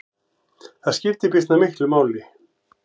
Það skiptir býsna miklu máli.